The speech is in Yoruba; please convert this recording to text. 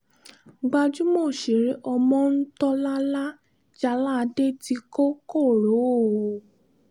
gbajúmọ̀ òṣèré ọmọńtólàlá jáládé ti kọ koro o